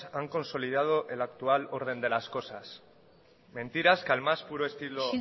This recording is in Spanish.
han consolidado el actual orden de las cosas mentiras que al más puro estilo